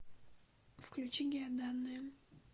включи геоданные